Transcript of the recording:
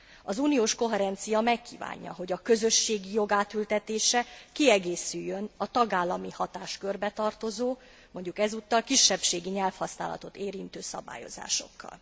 Az uniós koherencia megkívánja, hogy a közösségi jog átültetése kiegészüljön a tagállami hatáskörbe tartozó, mondjuk ezúttal kisebbségi nyelvhasználatot érintő szabályozásokkal.